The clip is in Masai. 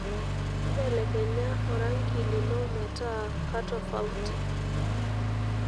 belekenya orangi lino metaa katofauti